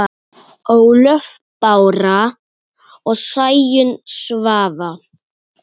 Ólöf Bára og Sæunn Svava.